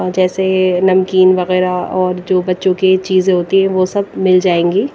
जैसे नमकीन वगैरह और जो बच्चों की चीजें होती हैं वो सब मिल जाएंगी।